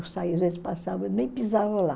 Eu saía, às vezes passava, nem pisava lá.